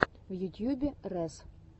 в ютьюбе рэс